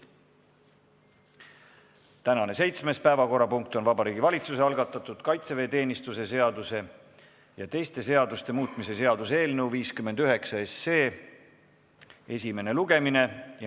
Tänane seitsmes päevakorrapunkt on Vabariigi Valitsuse algatatud kaitseväeteenistuse seaduse ja teiste seaduste muutmise seaduse eelnõu 59 esimene lugemine.